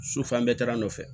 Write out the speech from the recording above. So fan bɛɛ taga nɔfɛ